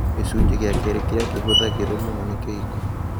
Gĩcunjĩ gĩa kerĩ kĩrĩa kĩhũthagĩrũo mũno nĩ kĩhiko.